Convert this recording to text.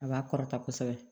A b'a kɔrɔta kosɛbɛ